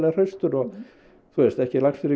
hraustur og ekki lagstur í